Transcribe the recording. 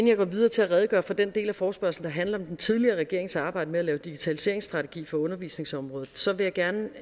jeg går videre til at redegøre for den del af forespørgslen der handler om den tidligere regerings arbejde med at lave en digitaliseringsstrategi for undervisningsområdet så vil jeg gerne